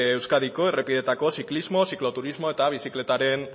euskadiko errepideetako ziklismo zikloturismo eta bizikletaren